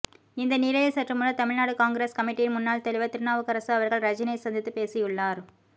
இந்த நிலையில் சற்று முன்னர் தமிழ்நாடு காங்கிரஸ் கமிட்டியின் முன்னாள் தலைவர் திருநாவுக்கரசு அவர்கள் ரஜினியை சந்தித்து பேசியுள்ளார்